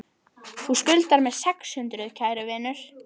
Þá skuldar þú mér sex hundruð, kæri vinur.